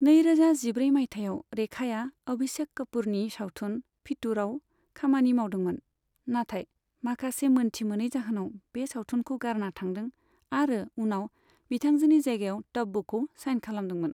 नैरोजा जिब्रै माइथायाव रेखाया अभिषेक कापूरनि सावथुन 'फितूर'आव खामानि मावदोंमोन, नाथाय माखासे मोनथि मोनै जाहोनाव बे सावथुनखौ गारना थांदों आरो उनाव बिथांजोनि जायगायाव तब्बुखौ साइन खालामदोंमोन।